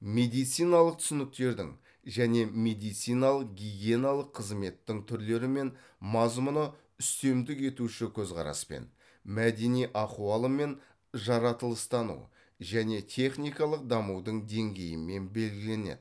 медициналық түсініктердің және медициналық гигиеналық қызметтің түрлері мен мазмұны үстемдік етуші көзқараспен мәдени ахуалы мен жаратылыстану және техникалық дамудың деңгейімен белгіленеді